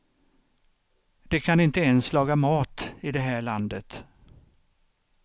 De kan inte ens laga mat i det här landet.